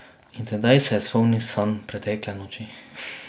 In tedaj se je spomnil sanj pretekle noči.